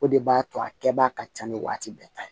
O de b'a to a kɛbaga ka ca ni waati bɛɛ ta ye